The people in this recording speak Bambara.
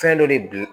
Fɛn dɔ de bi